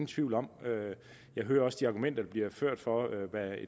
tvivl om jeg hører også de argumenter der bliver ført for hvad